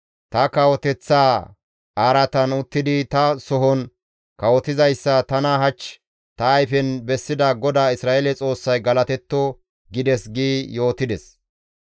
‹Ta kawoteththa araatan uttidi ta sohon kawotizayssa tana hach ta ayfen bessida GODAA Isra7eele Xoossay galatetto!› gides» gi yootides.